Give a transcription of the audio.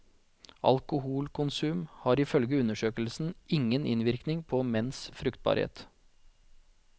Alkoholkonsum har ifølge undersøkelsen ingen innvirkning på menns fruktbarhet.